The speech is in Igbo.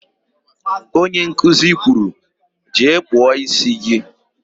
Onye nkuzi kwuru, "jee kpụọ ísí gị"!